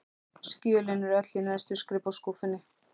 Skjölin eru öll í neðstu skrifborðsskúffunni.